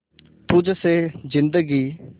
तुझ से जिंदगी